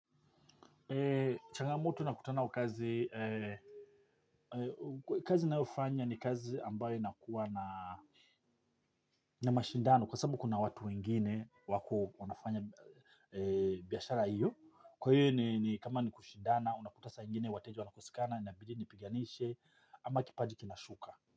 Changamoto na kutana kazi, kazi nayofanya ni kazi ambayo nakuwa na mashindano kwa sababu kuna watu wengine wako wanafanya biashara iyo. Kwa hiyo ni kama ni kushindana unakuta saa ingine wateja wanakosekana inabidi ni piganishe ama kipaji kinashuka.